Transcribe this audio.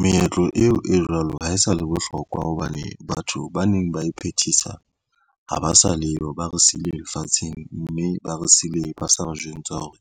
Meetlo eo e jwalo ha e sa le bohlokwa hobane batho ba neng ba e phethisa ha ba sa leyo, ba re sile lefatsheng mme ba re sile ba sa ba re jwentsha hore